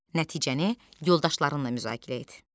Nəticəni yoldaşlarınla müzakirə et.